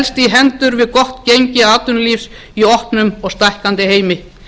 hendur við gott gengi atvinnulífs í opnum og stækkandi heimi